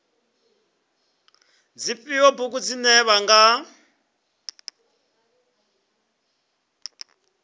dzifhio bugu dzine vha nga